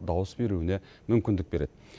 дауыс беруіне мүмкіндік береді